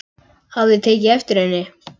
Hafði tekið eftir henni.